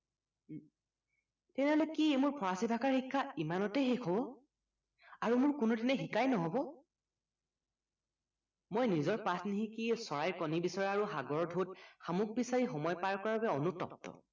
তেনেহলে কি মোৰ ফৰাচী ভাষাৰ শিক্ষা ইমানতে শেষ হব মই নিজৰ পাঠ নিশিকি চৰাই কণী বিচৰা আৰু সাগৰৰ ঢৌত শামুক বিচাৰি সময় পাৰ কৰাৰ বাবে অনুতপ্ত